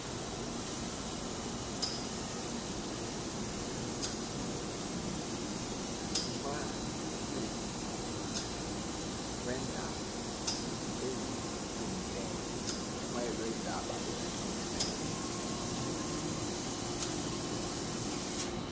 mjumayeli weendaba ezilungileyo